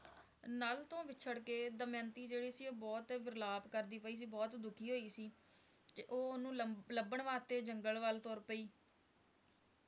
ਨਲ ਤੋਂ ਵਿੱਛੜ ਕੇ ਦਮਯੰਤੀ ਜਿਹੜੀ ਸੀ ਬਹੁਤ ਵਿਰਲਾਪ ਕਰਦੀ ਪਈ ਸੀ ਬਹੁਤ ਦੁਖੀ ਹੋਈ ਸੀ ਉਹ ਓਹਨੂੰ ਲੱਭਣ ਵਾਸਤੇ ਜੰਗਲ ਵੱਲ ਤੁਰ ਪਈ